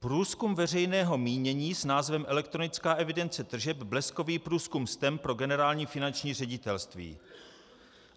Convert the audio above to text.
Průzkum veřejného mínění s názvem Elektronická evidence tržeb, bleskový průzkum STEM pro Generální finanční ředitelství.